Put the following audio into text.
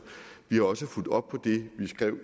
vi har også fulgt op på det vi skrev